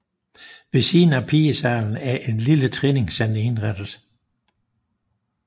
Ved siden af pigesalen er et lille træningscenter indrettet